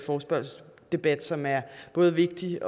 forespørgselsdebat som er både vigtig